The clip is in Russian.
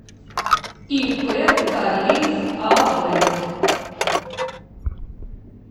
ип кареев ав